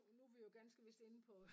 Nu nu vi jo ganske vist inde på